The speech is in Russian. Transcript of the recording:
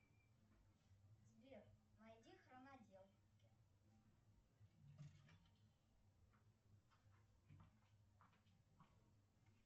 сбер найди хроноделки